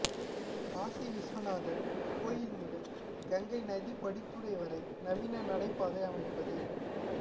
காசி விஸ்வநாதர் கோயில் முதல் கங்கை நதி படித்துறை வரை நவீன நடைபாதை அமைப்பது